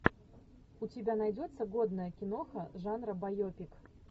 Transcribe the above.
у тебя найдется годная киноха жанра байопик